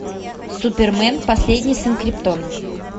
супермен последний сын криптона